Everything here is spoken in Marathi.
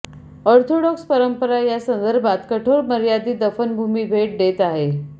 ऑर्थोडॉक्स परंपरा या संदर्भात कठोर मर्यादित दफनभूमी भेट देत आहेत